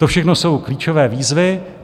To všechno jsou klíčové výzvy.